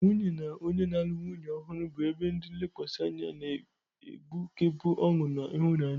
Nwunye na onye na-alụ nwanyị ọhụrụ bụ ebe ndi nlekwasi anya, na-egbukepụ ọṅụ na ịhụnanya.